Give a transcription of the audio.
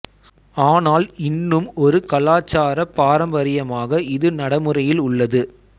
ஆனால் இன்னும் ஒரு கலாச்சாரப் பாரம்பரியமாக இது நடைமுறையில் உள்ளது